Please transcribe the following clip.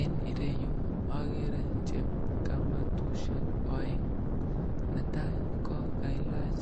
Eng ireyu agere chepkamatusyek aeng, netai ko kailach